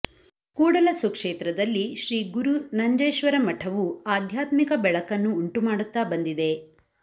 ಕೂಡಲ ಸುಕ್ಷೇತ್ರದಲ್ಲಿ ಶ್ರೀಗುರು ನಂಜೇಶ್ವರ ಮಠವು ಆಧ್ಯಾತ್ಮಿಕ ಬೆಳಕನ್ನು ಉಂಟುಮಾಡುತ್ತಾ ಬಂದಿದೆ